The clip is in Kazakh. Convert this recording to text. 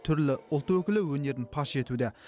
түрлі ұлт өкілі өнерін паш етуде